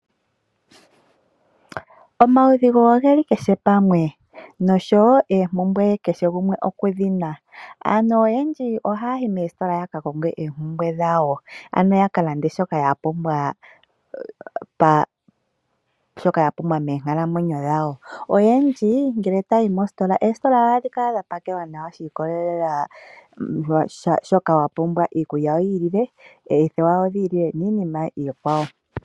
Omaudhigu ogeli kehe pamwe noshowo oompumbwe kehe gumwe okudhina. Aantu oyendji ohaya yi meesitola yaka konge eempumbwe dhawo, ano ya ka lande shoka ya pumbwa meenkalamwenyo dhawo. Aantu oyendji ngele taya yi meesitola, eesitola ohadhi kala dha pakelwa nawa shi ikolelela kwaashoka wapumbwa, iikulya oyi ili le, oothewa odhi ili le niinima iikwawo.